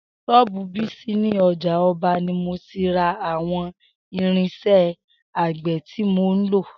S̩ó̩ò̩bù Bísí ní o̩jà o̩ba ni mo ti ra àwo̩n irins̩é̩ àgbè̩ tí mo ń lò